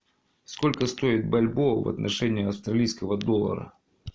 сколько стоит бальбоа в отношении австралийского доллара